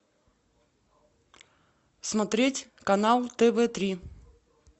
смотреть канал тв три